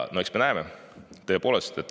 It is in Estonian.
No eks me näeme, tõepoolest.